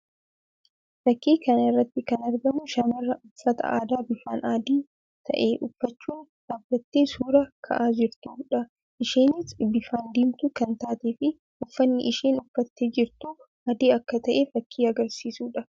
Fakkii kana irratti kan argamu shamara uffata aadaa bifaan adii ta'ee uffachuun dhaabbttee suuraa ka'aa jirtuu dha. isheenis bifaan diimtuu kan taatee fi uffanni isheen uffattee jirtus adii akka ta'e fakkii agarsiisuu dha.